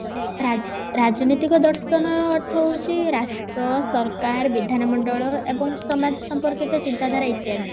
ରା ରାଜନୈତିକ ଦର୍ଶନ ହଉଛି ରାଷ୍ଟ୍ର ସରକାର ବିଧାନ ମଣ୍ଡଳ ଏବଂ ସମାଜ ସମ୍ପର୍କୀୟ ଚିନ୍ତା ଧାରା ଇତ୍ୟାଦି